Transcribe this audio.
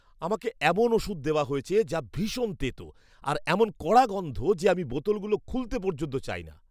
আমাকে এমন ওষুধ দেওয়া হয়েছে যা ভীষণ তেতো, আর এমন কড়া গন্ধ যে আমি বোতলগুলো খুলতে পর্যন্ত চাই না।